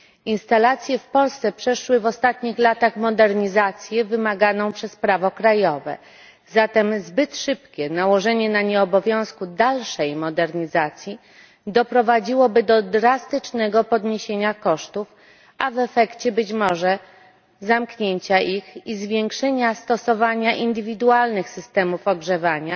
Instalacje w Polsce przeszły w ostatnich latach modernizację wymaganą przez prawo krajowe, zatem zbyt szybkie nałożenie na nie obowiązku dalszej modernizacji doprowadziłoby do drastycznego podniesienia kosztów, a w efekcie, być może, zamknięcia ich i zwiększenia stosowania indywidualnych systemów ogrzewania,